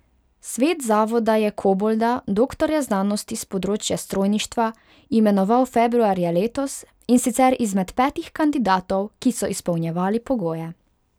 Svet zavoda je Kobolda, doktorja znanosti s področja strojništva, imenoval februarja letos, in sicer izmed petih kandidatov, ki so izpolnjevali pogoje.